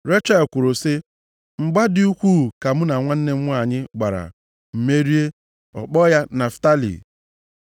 Rechel kwuru sị, “Mgba dị ukwuu ka mụ na nwanne m nwanyị gbara, m merie.” Ọ kpọọ ya Naftalị.